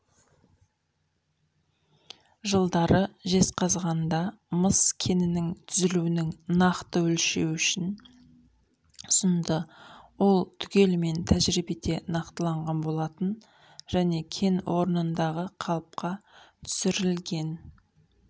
жылдары жезқазғанда мыс кенінің түзілуінің нақты өлшеуішін ұсынды ол түгелімен тәжиребеде нақтыланған болатын және кен орнындағы қалыпқа түсірілген